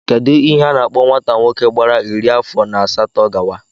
Kedụ ihe a na-akpọ nwata nwoke gbara iri afọ na asatọ gawa?